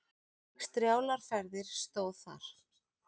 Strjálar ferðir stóð þar.